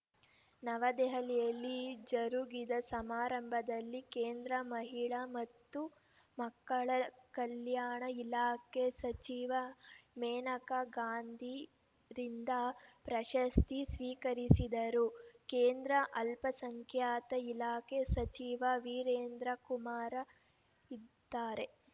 ನವದೆಹಲಿಯಲ್ಲಿ ಜರುಗಿದ ಸಮಾರಂಭದಲ್ಲಿ ಕೇಂದ್ರ ಮಹಿಳಾ ಮತ್ತು ಮಕ್ಕಳ ಕಲ್ಯಾಣ ಇಲಾಖೆ ಸಚಿವೆ ಮೇನಕಾ ಗಾಂಧಿರಿಂದ ಪ್ರಶಸ್ತಿ ಸ್ವೀಕರಿಸಿದರು ಕೇಂದ್ರ ಅಲ್ಪಸಂಖ್ಯಾತ ಇಲಾಖೆ ಸಚಿವ ವೀರೇಂದ್ರಕುಮಾರ ಇದ್ದಾರೆ